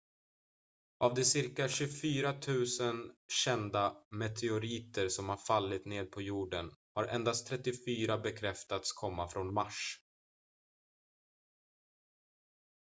av de cirka 24 000 kända meteoriter som har fallit ned på jorden har endast 34 bekräftats komma från mars